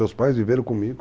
Meus pais viveram comigo.